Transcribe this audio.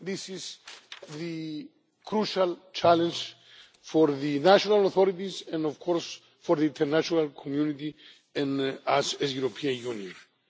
This is the crucial challenge for the national authorities and, of course, for the international community and us, the European Union.